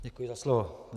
Děkuji za slovo.